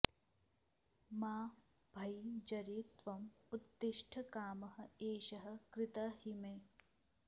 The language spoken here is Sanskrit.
मा भैः जरे त्वम् उत्तिष्ठ कामः एषः कृतः हि मे